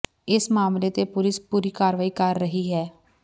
ਇਸ ਮਾਮਲੇ ਤੇ ਪੁਲਿਸ ਪੂਰੀ ਕਾਰਵਾਈ ਕਰ ਰਹੀ ਹੈ